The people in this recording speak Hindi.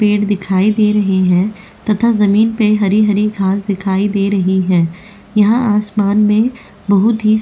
पेड़ दिखाई दे रहे हैं तथा जमीन पर हरी-हरी घास दिखाई दे रही है यहाँ आसमान में बहुत --